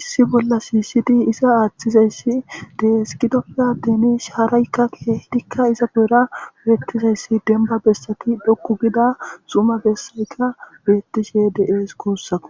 issi bolla siisidi isa aaththizayssi deeskidofa denish haaraykka keehidikka isa geera beettisayssi demba bessati dokku gida suma bessayka beettishe deees kuussao